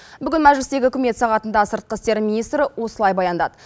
бүгін мәжілістегі үкімет сағатынды сыртқы істер министрі осылай баяндады